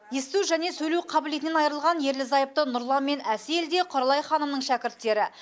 есту және сөйлеу қабілетінен айырылған ерлі зайыпты нұрлан мен әсел де құралай ханымның шәкірттері